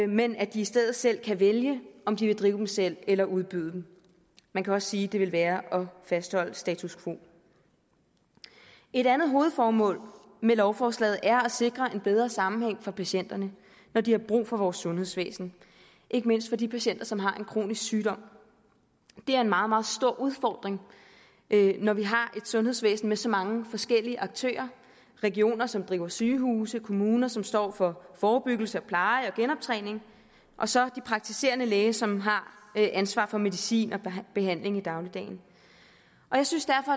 men at de i stedet selv kan vælge om de vil drive dem selv eller udbyde dem man kan også sige at det ville være at fastholde status quo et andet hovedformål med lovforslaget er at sikre en bedre sammenhæng for patienterne når de har brug for vores sundhedsvæsen ikke mindst for de patienter som har en kronisk sygdom det er en meget meget stor udfordring når vi har et sundhedsvæsen med så mange forskellige aktører regioner som driver sygehuse kommuner som står for forebyggelse pleje og genoptræning og så de praktiserende læger som har ansvaret for medicin og behandling i dagligdagen jeg synes derfor